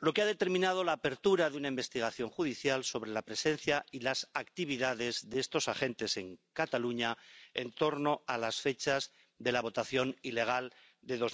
lo que ha determinado la apertura de una investigación judicial sobre la presencia y las actividades de estos agentes en Cataluña en torno a las fechas de la votación ilegal de